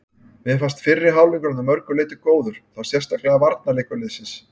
Mér fannst fyrri hálfleikurinn að mörgu leyti góður, þá sérstaklega varnarleikur liðsins.